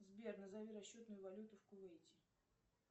сбер назови расчетную валюту в кувейте